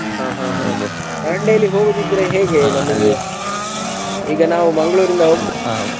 ಹಾ ಹಾ Dandeli ಗೆ ಹೋಗುದಿದ್ರೆ ಈಗ ನಾವು Mangalore ಇಂದ ?